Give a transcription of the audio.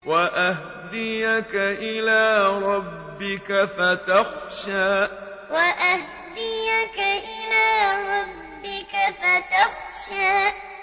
وَأَهْدِيَكَ إِلَىٰ رَبِّكَ فَتَخْشَىٰ وَأَهْدِيَكَ إِلَىٰ رَبِّكَ فَتَخْشَىٰ